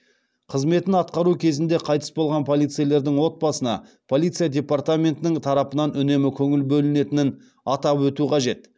қызметін атқару кезінде қайтыс болған полицейлердің отбасына полиция департаментінің тарапынан үнемі көңіл бөлінетінін атап өту қажет